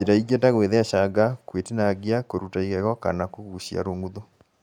Njĩra ingĩ ta gũĩthecanga, gũĩtinangia, kũruta igego kana kũgucia rũng’uthu